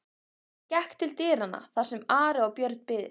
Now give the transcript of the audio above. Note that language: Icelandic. Hann gekk til dyranna þar sem Ari og Björn biðu.